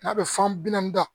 N'a bɛ fan bi naani da